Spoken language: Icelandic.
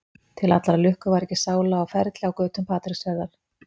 Til allrar lukku var ekki sála á ferli á götum Patreksfjarðar.